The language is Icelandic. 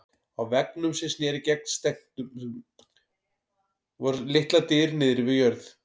Á veggnum sem sneri gegnt stekknum voru litlar dyr niðri við jörð.